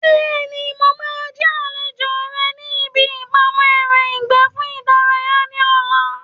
Bẹ́ẹ̀ni, mo máa jẹ́ àlejò rẹ ní ibi ìpamọ́ ẹran ìgbẹ́ fún ìdárayá ní ọ̀la